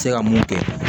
Se ka mun kɛ